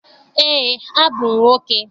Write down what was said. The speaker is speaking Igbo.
Eé, abụ m nwoke.